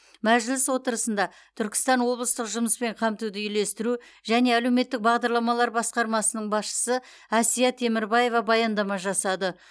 мәжіліс отырысында түркістан облыстық жұмыспен қамтуды үйлестіру және әлеуметтік бағдарламалар басқармасының басшысы әсия темірбаева баяндама жасады